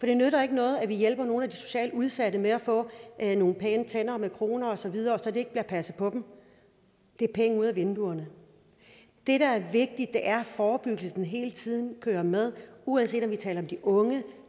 det nytter ikke noget at vi hjælper nogle af de socialt udsatte med at få nogle pæne tænder med kroner og så videre og så ikke bliver passet på dem det er penge ud af vinduet det der er vigtigt er at forebyggelsen hele tiden følger med uanset om vi taler om de unge